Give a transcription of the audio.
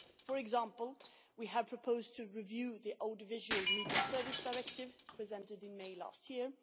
EU. For example, we have proposed to review the Audiovisual Media Service Directive presented in May last year